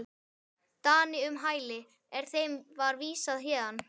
Dani um hæli, er þeim var vísað héðan.